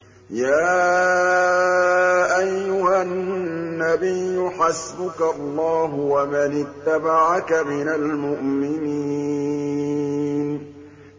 يَا أَيُّهَا النَّبِيُّ حَسْبُكَ اللَّهُ وَمَنِ اتَّبَعَكَ مِنَ الْمُؤْمِنِينَ